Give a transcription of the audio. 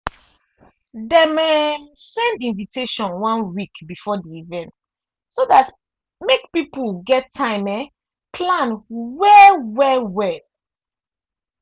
dem um send invitation one week before the event so dat make people get time um plan well well well